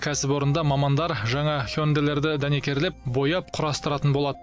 кәсіпорында мамандар жаңа хёндэлерды дәнекерлеп бояп құрастыратын болады